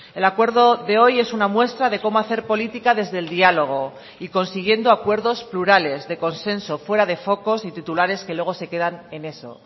el acuerdo de hoy es una muestra de cómo hacer política desde el diálogo y consiguiendo acuerdos plurales de consenso fuera de focos y titulares que luego se quedan en eso